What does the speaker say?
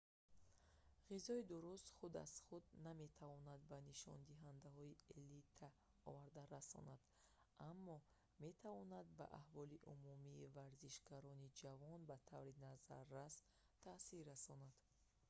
ғизои дуруст худ аз худ наметавонад ба нишондиҳандаҳои элита оварда расонад аммо метавонад ба аҳволи умумии варзишгарони ҷавон ба таври назаррас таъсир расонад